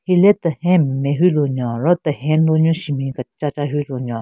Hile tehen nme hyu lunyo ro tehen lu nyu shenbin kechacha hyu lunyo.